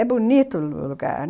É bonito o lugar.